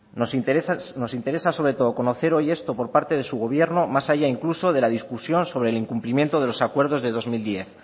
nos interesa sobre todo conocer hoy esto por parte de su gobierno más allá incluso de la discusión sobre el incumplimiento de los acuerdos de dos mil diez